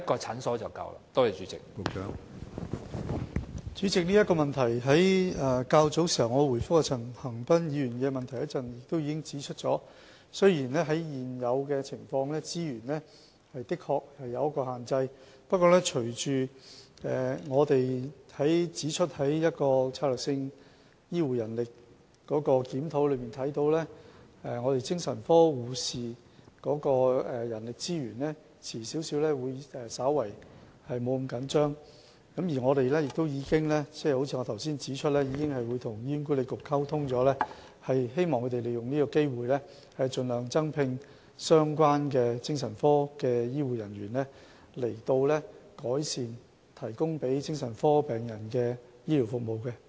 主席，關於這項補充質詢，我較早前答覆陳恒鑌議員的主體答覆時已指出，雖然在現有的情況下，資源確實有所限制，不過從"醫療人力規劃和專業發展策略檢討報告"可見，精神科護士的人力資源遲些將不會那麼緊絀，正如我剛才指出，我們已經與醫管局溝通，希望他們利用是次機會，盡量增聘相關的精神科醫護人員，以改善向精神科病人提供的醫療服務。